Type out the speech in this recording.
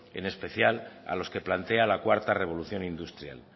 en especial a los que plantea la cuarta revolución industrial